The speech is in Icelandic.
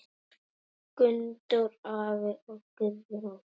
Gunndór afi og Guðrún.